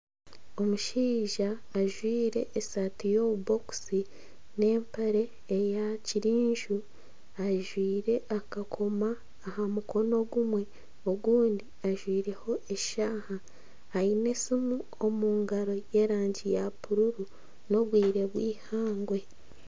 Omushaija ajwaire esaati y'obubokisi n'empare eya kyenju ajwaire akakomo aha mukono ogumwe ogundi ajwaireho eshaaha aine esimu omu ngaro y'erangi ya bururu n'obwire bw'ihangwe